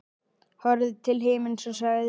Horfði til himins og sagði